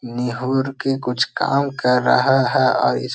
निहुर के कुछ काम कर रहा है और इस --